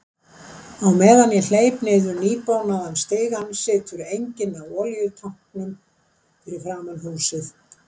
Á meðan ég hleyp niður nýbónaðan stigann situr enginn á olíutanknum fyrir framan húsið.